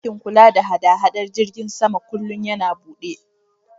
Ɗakin kula da haɗada jiragen sama kullin yana buɗe